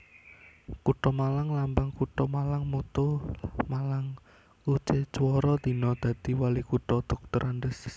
Kutha MalangLambang Kutha MalangMotto Malangkucecwara Dina Dadi Walikutha Drs